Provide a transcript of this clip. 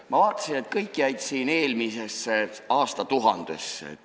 Ma vaatasin, et kõik jäid siin eelmisesse aastatuhandesse.